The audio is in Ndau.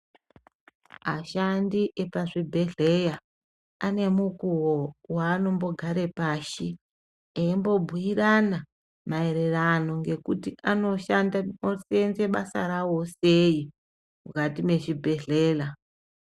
Ashandi epazvibhedhleya, ane mukuwo waanombogare pashi eimbobhuirana maererano ngekuti anoshanda oseenze basa rawo sei mukati mechibhedhlela.